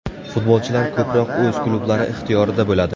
Futbolchilar ko‘proq o‘z klublari ixtiyorida bo‘ladi.